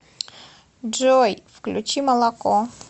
джой включи молоко